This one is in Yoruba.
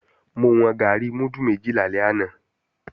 Mo wọn gàárì múdù méjì lálẹ́ àná